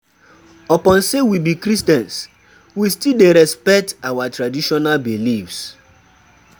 Upon sey we be Christians, we still dey respect our traditional beliefs.